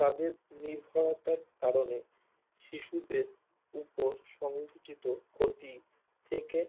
তাদের নির্ভরতার কারণে শিশুদের উপর সংভূতিতো ক্ষতি থেকে